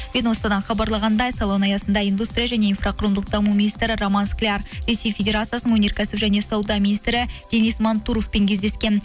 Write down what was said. ведомстводан хабарлағандай салон аясында индустрия және инфрақұрылымдық даму министрі роман скляр ресей федерациясының өнеркәсіп және сауда министрі денис мантуровпен кездескен